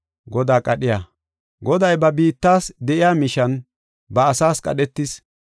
Goday ba biittas de7iya mishan ba asaas qadhetis.